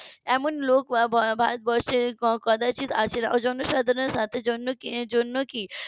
এমন লোক ভারতবর্ষে কদাচিৎ আছেন ওই জন্য সাধারণের সাথে জন্য জন্য কি